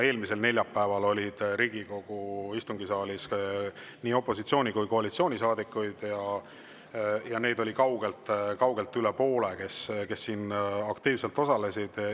Eelmisel neljapäeval oli Riigikogu istungisaalis nii opositsiooni- kui koalitsioonisaadikuid, ja neid oli kaugelt üle poole, kes siin aktiivselt osalesid.